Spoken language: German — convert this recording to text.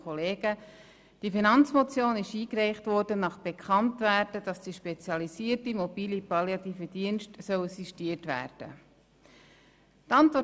Diese Finanzmotion wurde eingereicht, nachdem bekannt wurde, dass die spezialisierten mobilen Palliativen Dienste (MPD) sistiert werden sollen.